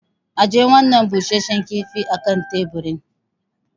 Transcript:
Ajiye wannan busasshen kifin a kan teburin.